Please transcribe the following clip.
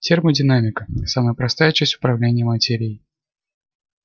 термодинамика самая простая часть управления материей